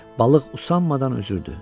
Balıq usanmadan üzürdü.